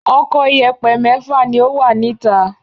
Ọkọ̀ ìyẹ̀pẹ̀ mẹ́fà ni ó wà níta.